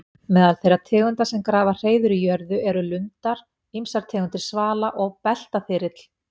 Meðal þeirra tegunda sem grafa hreiður í jörðu eru lundar, ýmsar tegundir svala og beltaþyrill.